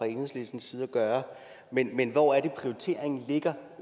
enhedslistens side at gøre men men hvor er det prioriteringen ligger